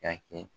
K'a kɛ